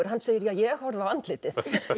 hann segir ja ég horfi á andlitið